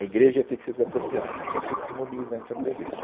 A igreja ia ter que ser desapropriada, então tinha que se mobilizar em torno da igreja.